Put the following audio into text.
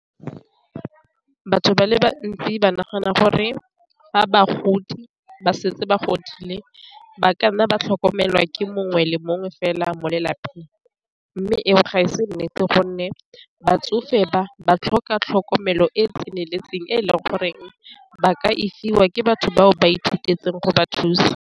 Batho ba le bantsi ba nagana gore fa bagodi ba setse ba godile ba ka nna ba tlhokomelwa ke mongwe le mongwe fela mo lelapeng, mme eo ga e se nnete gonne batsofe ba ba tlhoka tlhokomelo e e tseneletseng e e leng goreng ba ka isiwa ke batho bao ba ithutetseng go ba thusa.